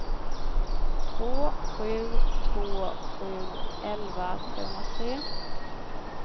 två sju två sju elva trehundratre